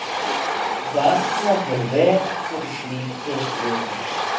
Varla fer vel fyrir slíkur verum.